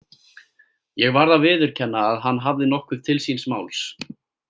Ég varð að viðurkenna að hann hafði nokkuð til síns máls.